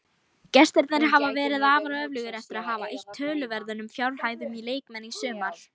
Gestirnir hafa verið afar öflugir eftir að hafa eytt töluverðum fjárhæðum í leikmenn í sumar.